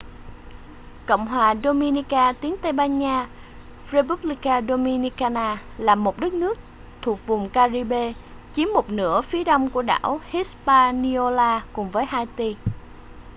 cộng hòa dominica tiếng tây ban nha: república dominicana là một đất nước thuộc vùng ca-ri-bê chiếm một nửa phía đông của đảo hispaniola cùng với haiti